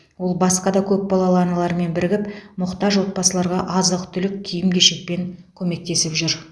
ол басқа да көпбалалы аналармен бірігіп мұқтаж отбасыларға азық түлік киім кешекпен көмектесіп жүр